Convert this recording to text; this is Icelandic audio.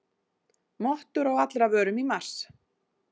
Mottur á allra vörum í mars